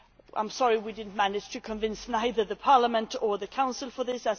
I am sorry we did not manage to convince either Parliament or the Council on this.